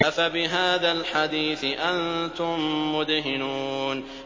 أَفَبِهَٰذَا الْحَدِيثِ أَنتُم مُّدْهِنُونَ